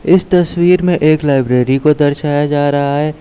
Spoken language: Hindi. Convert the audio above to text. इस तस्वीर में एक लाइब्रेरी को दर्शाया जा रहा है।